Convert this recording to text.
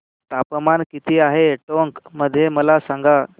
तापमान किती आहे टोंक मध्ये मला सांगा